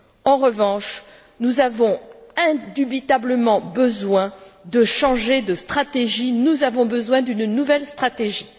En revanche, nous avons indubitablement besoin de changer de stratégie, nous avons besoin d'une nouvelle stratégie.